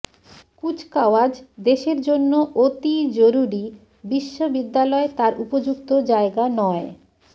কুচকাওয়াজ দেশের জন্য অতি জরুরি বিশ্ববিদ্যালয় তার উপযুক্ত জায়গা নয়